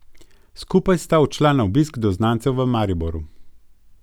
Skupaj sta odšla na obisk do znancev v Mariboru.